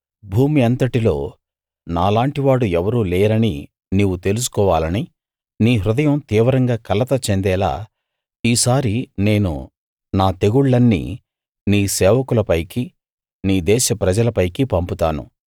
భూమి అంతటిలో నాలాంటివాడు ఎవరూ లేరని నీవు తెలుసుకోవాలని నీ హృదయం తీవ్రంగా కలత చెందేలా ఈసారి నేను నా తెగుళ్ళన్నీ నీ సేవకుల పైకి నీ దేశ ప్రజల పైకి పంపుతాను